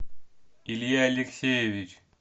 илья алексеевич